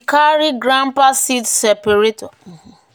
"e carry grandpa seed separator fix di fan belt before e use am for millet."